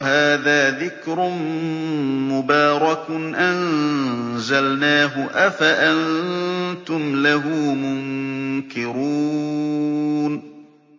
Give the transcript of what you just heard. وَهَٰذَا ذِكْرٌ مُّبَارَكٌ أَنزَلْنَاهُ ۚ أَفَأَنتُمْ لَهُ مُنكِرُونَ